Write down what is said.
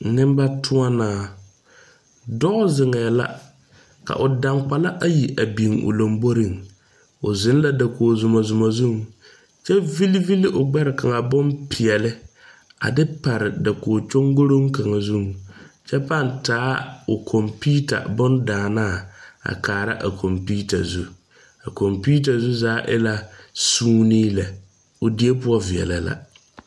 Neŋba tõɔnaa dɔɔ zeŋɛɛ la ka o daŋgbala ayi a biŋ o lomboreŋ o zeŋ la dakog zumɔzumɔ zuŋ kyɛ ville ville o gbɛre kaŋa bonpeɛɛle a de pare dakog kyoŋkoroŋ kaŋa zuŋ kyɛ paŋ taa o kɔmpiuta bondaanaa a kaara a kɔmpiuta zu a kɔmpiuta zu zaa e la suunee lɛ o die poɔ veɛlɛ la.